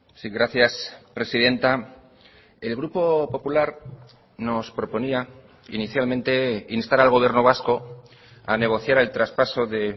sí gracias presidenta el grupo popular nos proponía inicialmente instar al gobierno vasco a negociar el traspaso de